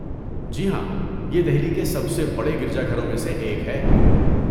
جی ہاں، یہ دہلی کے سب سے بڑے گرجا گھروں میں سے ایک ہے۔